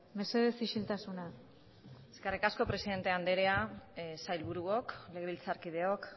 mesedez isiltasuna eskerrik asko presidente anderea sailburuok legebiltzarkideok